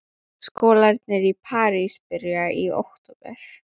Skólarnir í París byrja í október.